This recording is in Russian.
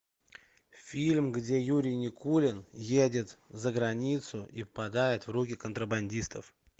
фильм где юрий никулин едет за границу и попадает в руки контрабандистов